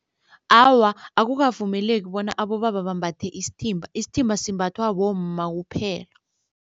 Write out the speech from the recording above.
Awa, akukavumeleki bona abobaba bambathe isithimba, isithimba simbathwa bomma kuphela.